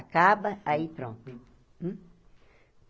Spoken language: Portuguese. Acaba, aí pronto.